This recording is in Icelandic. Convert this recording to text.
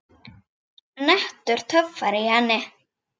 Nettur töffari í henni.